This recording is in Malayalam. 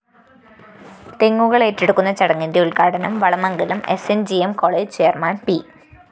തെങ്ങുകളേറ്റെടുക്കുന്ന ചടങ്ങിന്റെ ഉദ്ഘാടനം Valamangalam S N G M college chairman P